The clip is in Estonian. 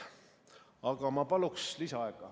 Aga ma paluks lisaaega.